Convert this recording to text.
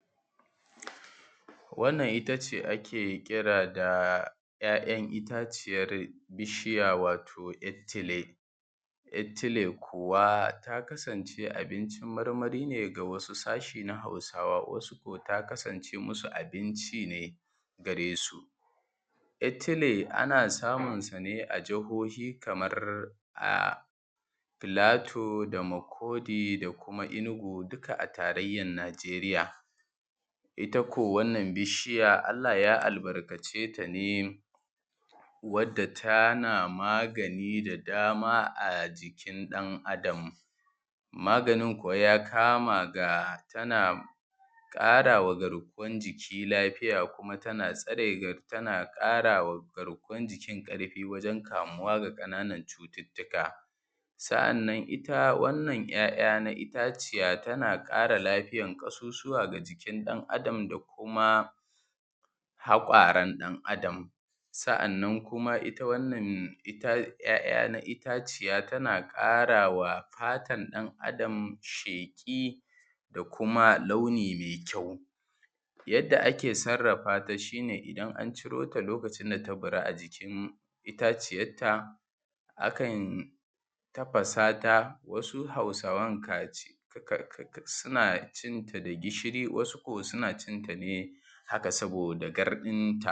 wannan itace ake kira da ‘ya’yan itaciyar bishiya wato ‘yar tile ‘yar tile kuwa ta kasance abincin marmari ne ga wasu sashe na hausawa wasu ko ta kasance musu abinci ne gare su ‘yar tile ana samun su ne a jihohi kamar a plateu da Makurdi da kuma Enugu dukka a tarayyar nijeriya ita ko wannan bishiyar allah ya albarkace tane wanda tana magani da dama a jikin ɗan adam maganin kuwa ya kama ga tana ƙarawa garkuwan jiki lafiya kuma tana tsare tana ƙarawa garkuwan jikin ƙarfi wajen kamuwa ga ƙananan cututtuka sa’annan ita wannan ‘ya’ya na itaciya tana ƙara lafiyan ƙasusuwa da jikin ɗan adam da kuma haƙoran ɗan adam sa’annan kuma ita wannan ‘ya’ya na itaciya tana ƙarawa fatar ɗan adam sheƙi da kuma launi mai kyau yadda ake sarrafa ta shi ne idan an ciro ta lokacin da ta baru a jikin itaciyar ta akan tafasa ta wasu hausawan ka ci suna cin ta da gishiri wasu ko suna cin ta haka saboda